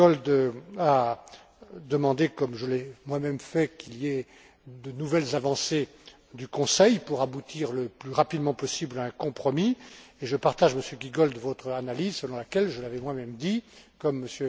Giegold a demandé, comme je l'ai moi même fait, qu'il y ait de nouvelles avancées du Conseil pour aboutir le plus rapidement possible à un compromis et je partage, Monsieur Giegold, votre analyse, selon laquelle, je l'avais moi même dit, comme M.